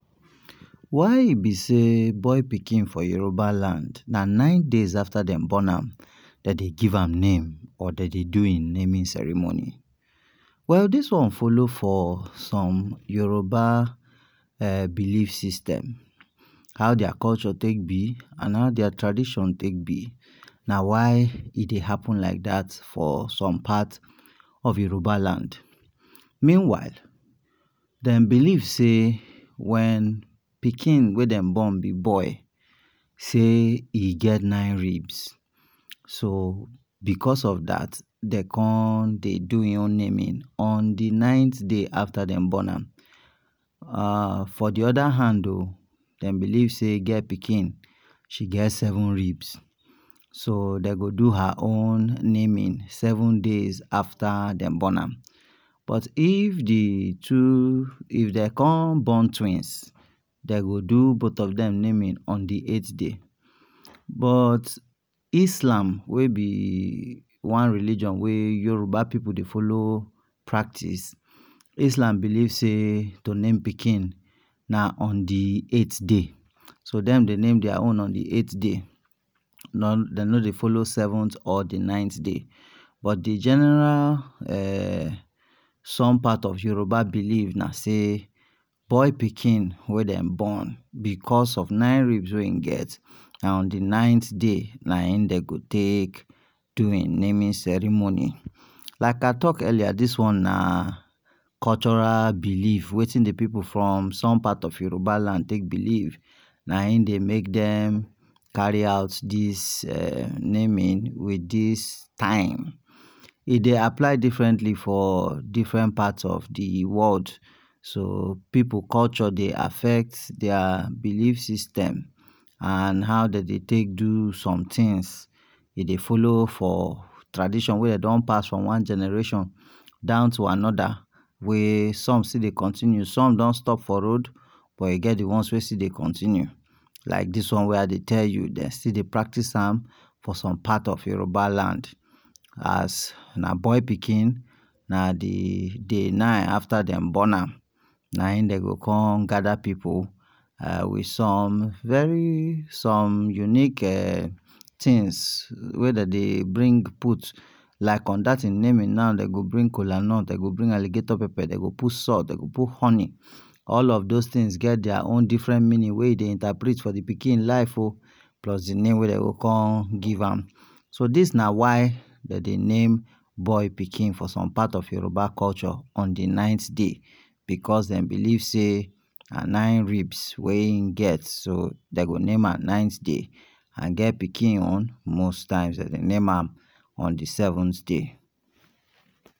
Why e be sey boy pikin for Yoruba land, na nine days after dem born am that dey give am name or de dey do hin naming ceremony. Well dis one follow for some Yoruba ehh belief system. How dia culture take be and how dia tradition take be. Na why e dey happen like that for some parts of Yoruba land. Meanwhile, dem believe sey when pikin wey dem born be boy sey e get nine ribs. So, because of that dey con dey do hin naming on the ninth day after dem born am. uhh for the other hand oo, dem believe sey gir pikin she get seven ribs. So dey go do her own naming seven days after dem born am. But if the two, if dey con born twins, dey go do both of dem naming on the eight day. But islam wey be one religion wey Yoruba pipul dey follow practice, islam believe sey to name pikin na on the eight day; so dem dey name dia own on the eight day. Non dey no dey follow seventh or the ninth day. But the general ehh, some part of Yoruba belief na sey boy pikin wey dem born, because of nine ribs wey hin get, na on the ninth day nah in dey go take do hin naming ceremony. Like I talk earlier dis one na cultural belief wey; wetin the pipul from some part of Yoruba land take believe. Na hin dey make dem carry out dis ehh naming with dis time. E dey apply differently for different parts of the world. So pipul culture dey affect dia belief system and how de dey take do somethings. E dey follow for tradition wey dey don pass from one generation down to another, wey some still dey continue. Some don stop for road, but e get the ones wey still dey continue. Like dis one wey I dey tell you; dem still dey practice am for some part of Yoruba land. As na boy pikin, na the day nine after dem born am na hin de go con gather pipul. Ehh with some very, some unique ehh things wey de dey bring put. Like on dat thing naming now dey go bring kolanut, dey go bring alligator pepper, dey go put salt, dey go put honey. All of those things get dia own different meaning wey e dey interprete for the pikin life o, plus the name wey dey go con give am. so dis na why de dey name boy pikin for some part of Yoruba culture on the ninth day, because dem believe sey na nine ribs wey hin get. So dey go name am ninth day. And girl pikin own most times de dey name am on the seventh day